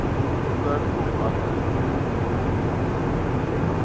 voor af nader